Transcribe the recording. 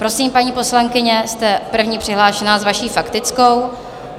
Prosím, paní poslankyně, jste první přihlášená s vaší faktickou.